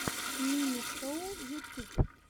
мими шоу ютюб